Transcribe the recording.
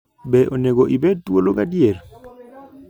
Be Onego Ibed Thuolo Gadier?